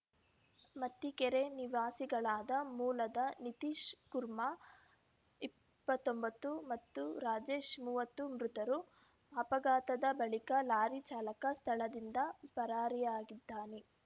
ಮತ್ತಿಕೆರೆ ನಿವಾಸಿಗಳಾದ ಮೂಲದ ನಿತೀಶ್‌ ಕುರ್ಮಾ ಇಪ್ಪತ್ತೊಂಬತ್ತು ಮತ್ತು ರಾಜೇಶ್‌ ಮೂವತ್ತು ಮೃತರು ಅಪಘಾತದ ಬಳಿಕ ಲಾರಿ ಚಾಲಕ ಸ್ಥಳದಿಂದ ಪರಾರಿಯಾಗಿದ್ದಾನೆ